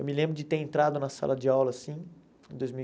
Eu me lembro de ter entrado na sala de aula, assim, em dois mil e